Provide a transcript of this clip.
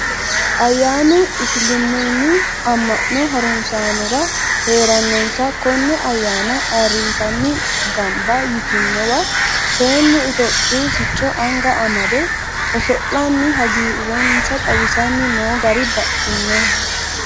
Ayyanu isiliminu ama'no harunsanora heerenansa kone ayyaanna ayirrisanni gamba ytinowa seennu itophiyu sicco anga amade oso'lanni hagiirensa xawisanni no gari baxxinoho.